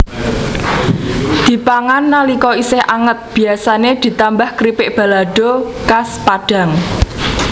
Dipangan nalika isih anget biasané ditambah kripik balado khas Padang